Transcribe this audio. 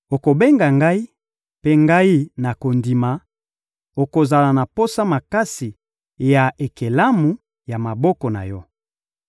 Okobenga ngai, mpe ngai, nakondima; okozala na posa makasi ya ekelamu ya maboko na Yo.